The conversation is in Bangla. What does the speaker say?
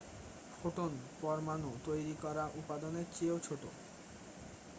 ফোটন পরমাণু তৈরি করা উপাদানের চেয়েও ছোট